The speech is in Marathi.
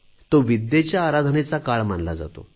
तो विद्येच्या आराधनेचा काल मानला जातो